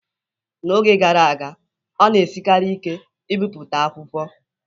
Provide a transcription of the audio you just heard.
N'oge gara aga, ọ na-esiri ike ibipụta akwụkwọ